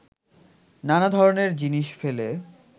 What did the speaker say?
নানা ধরনের জিনিস ফেলে